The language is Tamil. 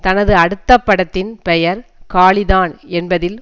தனது அடுத்த படத்தின் பெயர் காளி தான் என்பதில்